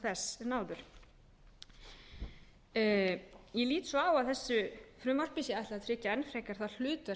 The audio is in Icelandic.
þess en áður ég lít svo á að þessu frumvarpi sé ætlað að tryggja enn frekar það hlutverk